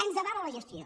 ens avala la gestió